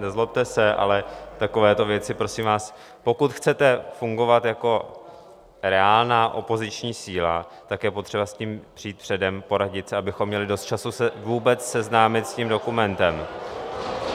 Nezlobte se, ale takovéto věci, prosím vás - pokud chcete fungovat jako reálná opoziční síla, tak je potřeba s tím přijít předem, poradit se, abychom měli dost času se vůbec seznámit s tím dokumentem.